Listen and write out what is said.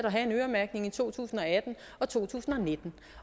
have en øremærkning i to tusind og atten og to tusind og nitten